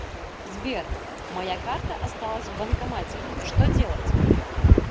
сбер моя карта осталась в банкомате что делать